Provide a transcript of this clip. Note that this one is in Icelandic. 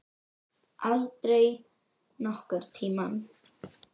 Aldrei nokkurn tímann.